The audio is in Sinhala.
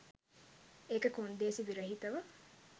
ඒක කොන්දේසි විරහිතව